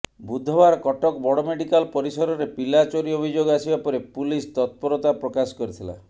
ବୁଧବାର କଟକ ବଡ ମେଡିକାଲ ପରିସରରେ ପିଲା ଚୋରି ଅଭିଯୋଗ ଆସିବା ପରେ ପୁଲିସ ତତ୍ପରତା ପ୍ରକାଶ କରିଥିଲା